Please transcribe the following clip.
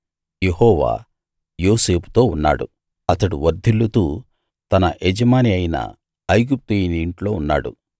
యెహోవా యోసేపుతో ఉన్నాడు అతడు వర్ధిల్లుతూ తన యజమాని అయిన ఐగుప్తీయుని ఇంట్లో ఉన్నాడు